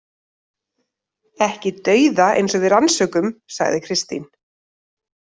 Ekki dauða eins og við rannsökum, sagði Kristín.